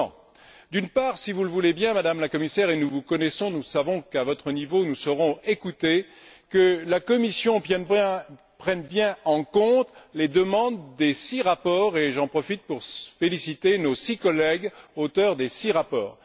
Comment? D'une part, si vous le voulez bien, Madame la Commissaire et nous vous connaissons, nous savons qu'à votre niveau nous serons écoutés, en faisant en sorte que la Commission prenne bien en compte les demandes des six rapports et j'en profite pour féliciter nos six collègues, auteurs des six rapports.